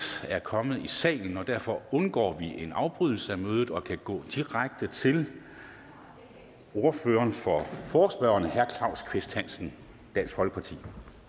er kommet i salen og derfor undgår vi en afbrydelse af mødet og kan gå direkte til ordføreren for forespørgerne herre claus kvist hansen dansk folkeparti